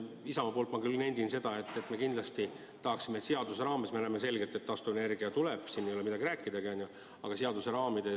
Isamaa esindajana ma küll nendin seda, et me kindlasti tahaksime, et taastuvenergia tuleb – siin ei ole midagi rääkidagi, on ju –, aga see võiks toimuda seaduste raamides.